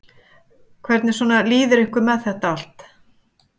Hvernig svona líður ykkur með þetta allt?